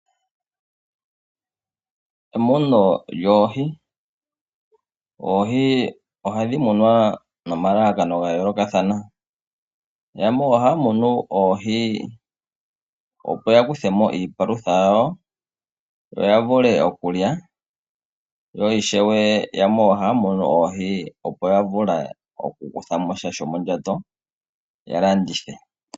Emuno lyoohi Oohi ohadhi munwa nomalalakano ga yoolokathana. Yamwe ohaya munu oohi, opo ya kuthe mo iipalutha yawo, ya vule okulya yo ishewe yamwe ohaya munu oohi opo ya landithe, ya kuthe mo sha shomondjato.